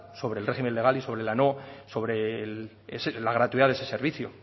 sobre el régimen legal y sobre la gratuidad de ese servicio